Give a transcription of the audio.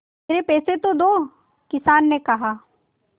मेरे पैसे तो दो किसान ने कहा